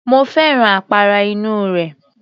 Mo fẹ́ràn àpárá inú rẹ̀